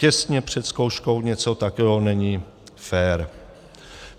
Těsně před zkouškou něco takového není fér.